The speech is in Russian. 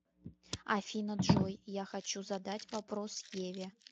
афина джой я хочу задать вопрос еве